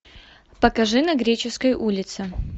покажи на греческой улице